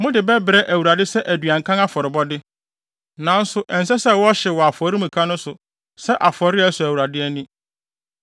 Mode bɛbrɛ Awurade sɛ aduankan afɔrebɔde, nanso ɛnsɛ sɛ wɔhyew wɔ afɔremuka no so sɛ afɔre a ɛsɔ Awurade ani.